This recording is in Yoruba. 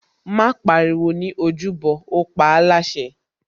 Má pariwo ní ojúbọ, ó paáláṣẹ